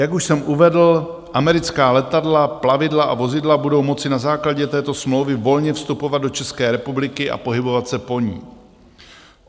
Jak už jsem uvedl, americká letadla, plavidla a vozidla budou moci na základě této smlouvy volně vstupovat do České republiky a pohybovat se po ní.